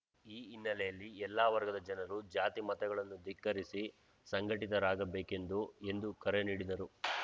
ಈ ಹಿನ್ನೆಲೆಯಲ್ಲಿ ಎಲ್ಲಾ ವರ್ಗದ ಜನರು ಜಾತಿ ಮತಗಳನ್ನು ಧಿಕ್ಕರಿಸಿ ಸಂಘಟಿತರಾಗಬೇಕೆಂದು ಎಂದು ಕರೆ ನೀಡಿದರು